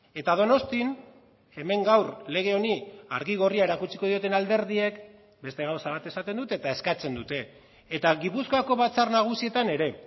eta donostian hemen gaur lege honi argi gorria erakutsiko dioten alderdiek beste gauza bat esaten dute eta eskatzen dute eta gipuzkoako batzar nagusietan ere